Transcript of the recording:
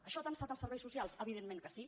això ha tensat els serveis socials evidentment que sí